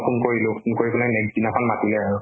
phone কৰিলো, phone কৰি পেলাই next দিনাখন মাতিলে আৰু।